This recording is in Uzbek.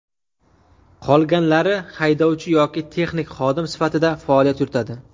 Qolganlari haydovchi yoki texnik xodim sifatida faoliyat yuritadi.